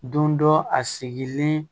Don dɔ a sigilen